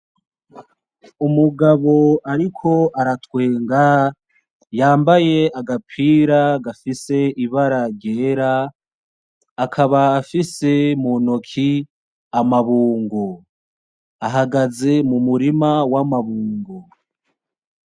Umugabo ariko aratwenga yambaye agapira gafise ibara ryera akaba afise muntoki amabungo, ahagaze mu murima wa mabungo.